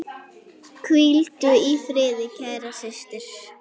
Hvíldu í friði, kæra systir.